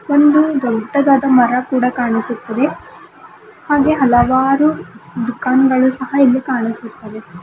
ಒಂದು ದೊಡ್ಡದಾದ ಮರ ಕೂಡ ಕಾಣಿಸುತ್ತಿದೆ ಹಾಗೆ ಹಲವಾರು ದುಖಾನುಗಳು ಸಹಾ ಇಲ್ಲಿ ಕಾಣಿಸುತ್ತಿವೆ.